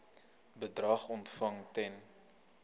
bedrag ontvang ten